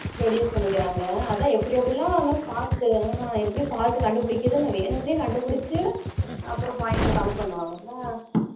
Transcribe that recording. Reduce பண்ணிக்குறாங்க அதான் எப்படி எப்படியோ வந்து fault எப்படி fault கண்டு பிடிக்குறதுணு வேணுக்குனு கண்டு பிடிச்சி அப்றம் point கம்மி பண்ணுவாங்கள